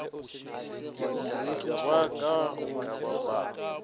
ke ra ka go ba